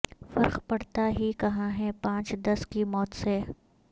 فرق پڑتا ہی کہاں ہے پانچ دس کی موت سے